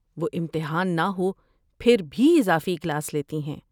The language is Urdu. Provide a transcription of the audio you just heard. وہ امتحان نہ ہو، پھر بھی اضافی کلاس لیتی ہیں۔